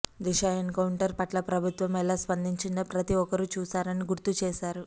దిశ encounter పట్ల ప్రభుత్వం ఎలా స్పందించిందో ప్రతీ ఒక్కరూ చూశారని గుర్తుచేశారు